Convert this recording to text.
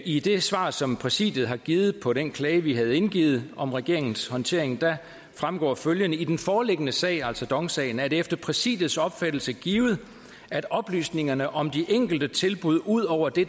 i det svar som præsidiet har givet på den klage vi havde indgivet om regeringens håndtering fremgår følgende i den foreliggende sag altså dong sagen er det efter præsidiets opfattelse givet at oplysningerne om de enkelte tilbud ud over det